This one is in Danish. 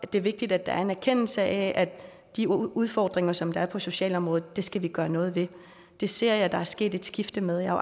det er vigtigt at der er en erkendelse af at de udfordringer som der er på socialområdet skal vi gøre noget ved det ser jeg at der er sket et skifte med jeg har